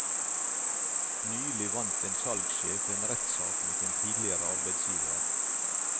Nylig vant en salgssjef en rettssak mot en tidligere arbeidsgiver.